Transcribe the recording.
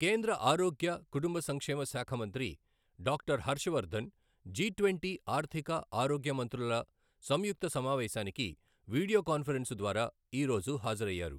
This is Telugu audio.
కేంద్ర ఆరోగ్య, కుటుంబ సంక్షేమశాఖ మంత్రి డాక్టర్ హర్షవర్ధన్ జి ట్వంటీ ఆర్ధిక, ఆరోగ్య మంత్రుల సంయుక్త సమావేశానికి వీడియో కాన్ఫరెన్సు ద్వారా ఈరోజు హాజరయ్యారు.